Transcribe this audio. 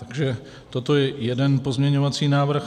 Takže toto je jeden pozměňovací návrh.